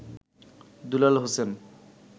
Dulal Hossain